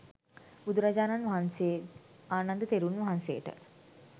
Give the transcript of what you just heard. බුදුරජාණන් වහන්සේ ආනන්ද තෙරුන් වහන්සේට